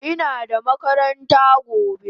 Ina da makaranta gobe